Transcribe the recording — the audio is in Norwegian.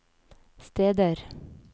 steder